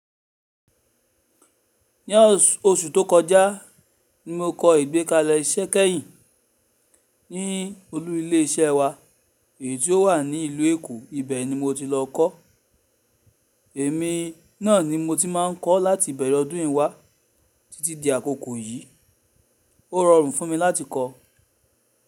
Ní ọṣù tó kọjá ni mo kọ ìgbékalẹ̀ iṣẹ́ kẹ́yìn ní olú ilé iṣẹ́ wa èyí tió wà ní ìlú Èkó. Ibẹ̀ ni mo ti lọ kọ́. Èmi náà ni mo ti máa ń kọ láti ìbẹ̀rẹ̀ ọdún yìí wá títí di àkókò yìí. Ó rọrùn fún mi láti kọ.